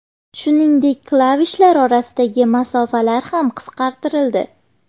Shuningdek, klavishlar orasidagi masofalar ham qisqartirildi.